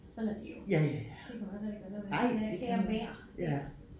Sådan er det jo det kan man ikke rigtig gøre noget ved det kære vejr ik